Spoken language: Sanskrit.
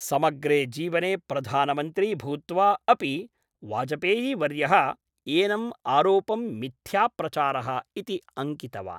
समग्रे जीवने प्रधानमन्त्री भूत्वा अपि वाजपेयीवर्यः एनम् आरोपं मिथ्याप्रचारः इति अङ्कितवान्।